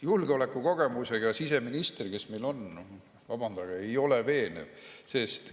Julgeolekukogemusega siseminister, kes meil on, vabandage, see ei ole veenev!